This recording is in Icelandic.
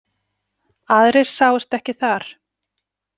Aðrir sáust ekki þar.